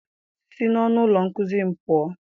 Si n'ọnụ ụlọ nkuzi m pụọ!